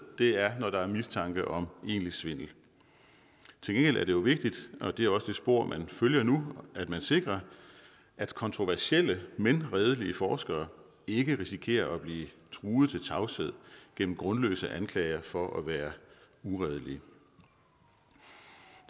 er når der er mistanke om egentlig svindel til gengæld er det jo vigtigt og det er også det spor man følger nu at man sikrer at kontroversielle men redelige forskere ikke risikerer at blive truet til tavshed gennem grundløse anklager for at være uredelige